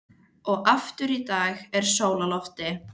Og aftur í dag er sól á lofti.